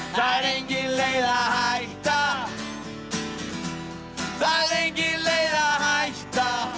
það er engin leið að hætta það er engin leið að hætta